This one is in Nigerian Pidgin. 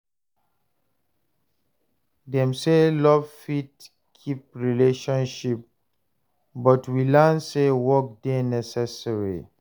Dem say love fit keep relationship but we learn sey work dey necessary.